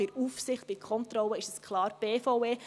Bei der Aufsicht, bei Kontrollen ist es klar die BVE.